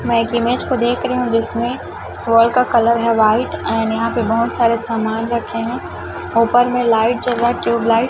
मैं एक इमेज को देख रही हूं जिसमें वॉल का कलर है व्हाइट एंड यहां पे बहोत सारे समान रखे हैं ऊपर में लाइट जल रहा है ट्यूबलाइट --